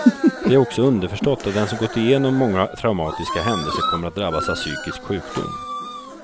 Det är också underförstått att den som gått igenom många traumatiska händelser kommer att drabbas av psykisk sjukdom.